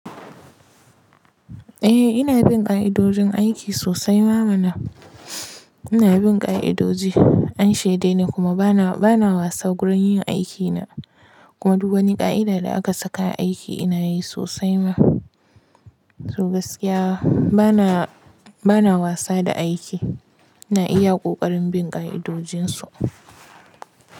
Eh ina bin ka'idojin aiki sosai ma mana. Ina bin ƙa'idoji, an shaidai ni kuma bana bana wasa gurin yin aikina. Kuma duk wani ka'ida da aka saka aiki ina yi sosai ma. To gaskiya bana bana wasa da aiki. Na iya ƙoƙarin bin ƙa'idojinsu.